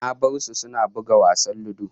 Na bar su suna buga wasan ludo